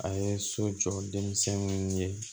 A ye so jɔ denmisɛnw ye